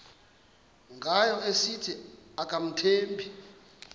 ngayo esithi akamthembi